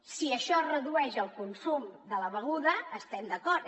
si això redueix el consum de la beguda hi estem d’acord